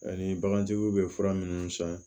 Ani bagantigiw bɛ fura minnu san